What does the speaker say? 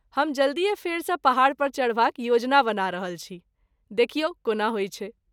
हम जल्दीये फेरसँ पहाड़ पर चढ़बाक योजना बना रहल छी, देखियै कोना होइ छै।